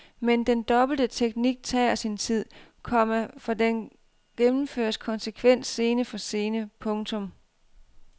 Men den dobbelte teknik tager sin tid, komma for den gennemføres konsekvent scene for scene. punktum